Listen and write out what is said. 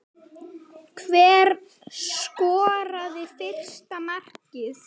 Hver skoraði fyrsta markið?